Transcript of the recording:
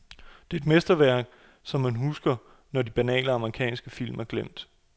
Det er et mesterværk, som man husker, når alle de banale amerikanske film er glemt.